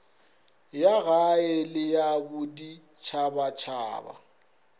ya gae le ya boditšhabatšhaba